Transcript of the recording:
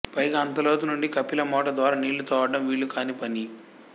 పైగా అంత లోతు నుండి కపిలిమోట ద్వారా నీళ్లు తోడడం వీలు కాని పని